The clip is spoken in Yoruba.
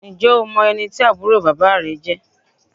Ǹjẹ́ o mọ ẹni tí àbúrò bàbá rẹ jẹ́?